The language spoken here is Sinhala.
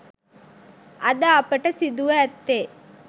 අද අපට සිදුව ඇත්තේ